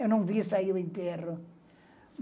Eu não vi sair o enterro.